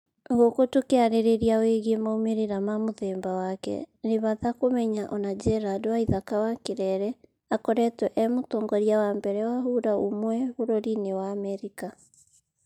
Guku tũkĩarĩrĩria wĩgiĩ maumĩrĩra ma mũthemba wake, ni bata kũmenya ona gerald waithaka wa Kirere akoretwo e mũtongoria wa mbere wa hura umwe bũrũri-inĩ wa Amerika